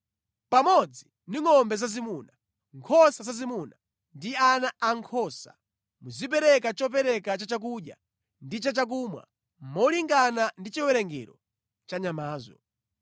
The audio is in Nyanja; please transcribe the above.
Pamodzi ndi ngʼombe zazimuna, nkhosa zazimuna ndi ana ankhosa, muzipereka chopereka cha chakudya ndi cha chakumwa molingana ndi chiwerengero cha nyamazo.